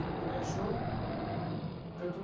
Minha mãe achou,